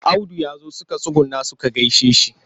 Audu ya zo suka tsuguna suka gaishe shi.